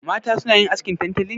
Mata suna yin askin tantali ne?